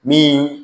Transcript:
Min